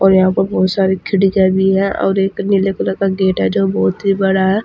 और यहां पर बहुत सारे खिड़कियां भी हैं और एक नीले कलर का गेट हैं जो बहुत ही बड़ा है।